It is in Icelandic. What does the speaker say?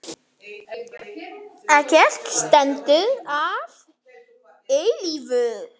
Ekkert stendur að eilífu.